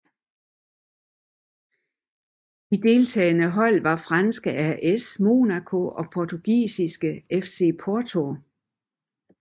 De deltagende hold var franske AS Monaco og portugisiske FC Porto